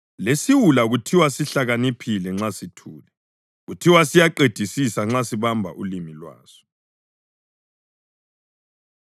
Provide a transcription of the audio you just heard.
Lesiwula kuthiwa sihlakaniphile nxa sithule, kuthiwe siyaqedisisa nxa sibamba ulimi lwaso.